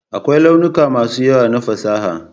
Akwai launuka masu yawa na fasaha.